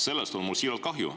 Sellest on mul siiralt kahju.